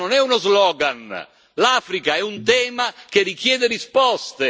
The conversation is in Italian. L'Africa non è uno slogan l'Africa è un tema che richiede risposte.